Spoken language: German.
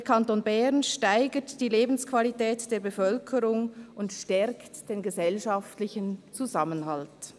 «Der Kanton Bern steigert die Lebensqualität der Bevölkerung und stärkt den gesellschaftlichen Zusammenhalt.»